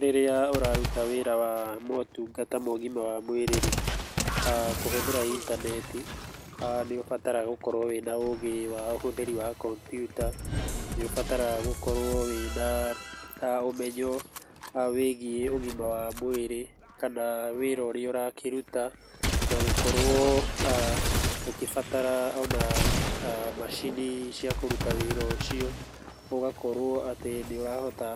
Rĩrĩa ũraruta wĩra wa motungata ma ũgima wa mwĩrĩ rĩ, kũhũthĩra intaneti nĩũbataraga gũkorwo wĩna ũgĩ wa ũhũthĩri wa kombiuta. Nĩ ũbataraga gũkorwo wĩna ũmenyo wĩgiĩ ũgima wa mwĩrĩ kana wĩra ũrĩa ũrakĩruta. Na gũkorwo ũkĩbatara nginya macini cia kũruta wĩra ũcio, ũgakorwo atĩ nĩũrahota